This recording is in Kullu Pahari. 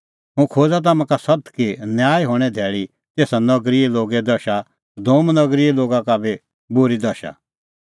हुंह खोज़ा तम्हां का सत्त कि न्याय हणें धैल़ै हणीं तेसा नगरीए लोगे दशा सदोम नगरीए लोगा का बी बूरी दशा